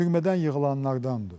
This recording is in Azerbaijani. Türmədən yığılanlardandır.